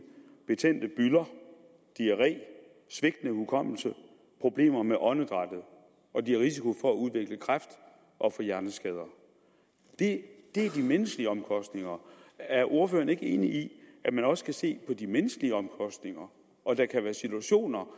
betændte bylder diarré svigtende hukommelse og problemer med åndedrættet og de har risiko for at udvikle kræft og få hjerneskader det er de menneskelige omkostninger er ordføreren ikke enig i at man også skal se på de menneskelige omkostninger og at der kan være situationer